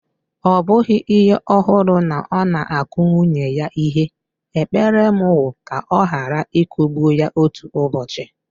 Ọ bụghị ihe ọhụrụ na ọ na-akụ nwunye ya ihe, ekpere m wu ka ọ ghara ịkụgbu ya otu ụbọochị.